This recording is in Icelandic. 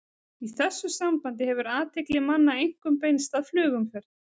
Í þessu sambandi hefur athygli manna einkum beinst að flugumferð.